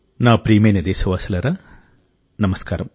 నా ప్రియమైన దేశవాసులారా నమస్కారం